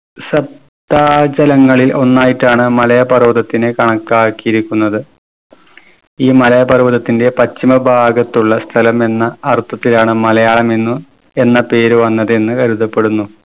സപ്താജലങ്ങളിൽ ഒന്നായിട്ടാണ് മലയ പർവതത്തിനെ കണക്കാക്കിയിരിക്കുന്നത്. ഈ മലയ പർവതത്തിന്റെ പശ്ചിമ ഭാഗത്തുള്ള സ്ഥലം എന്ന അർത്ഥത്തിലാണ് മലയാളം എന്ന് എന്ന പേര് വന്നത് എന്ന് കരുതപ്പെടുന്നു